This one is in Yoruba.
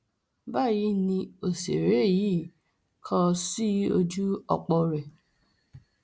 báyìí ni òṣèré yìí kọ ọ sí ojú ọpọ rẹ